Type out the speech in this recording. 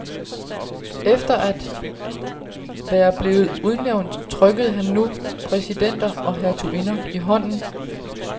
Efter at være blevet udnævnt trykkede han nu præsidenter og hertuginder i hånden.